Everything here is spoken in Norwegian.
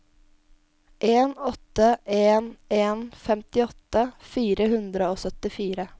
en åtte en en femtiåtte fire hundre og syttifire